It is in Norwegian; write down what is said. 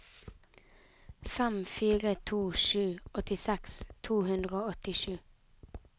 fem fire to sju åttiseks to hundre og åttisju